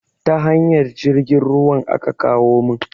Ta hanyar jirgin ruwan aka kawo mun